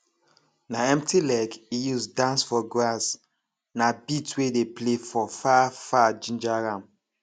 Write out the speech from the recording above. na empty leg e use dance for grass na beat wey dey play for far far ginger am